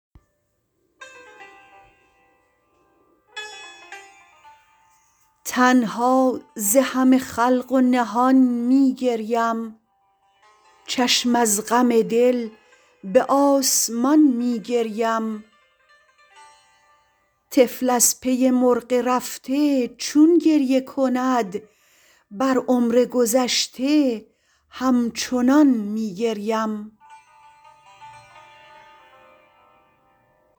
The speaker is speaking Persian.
تنها ز همه خلق و نهان می گریم چشم از غم دل به آسمان می گریم طفل از پی مرغ رفته چون گریه کند بر عمر گذشته همچنان می گریم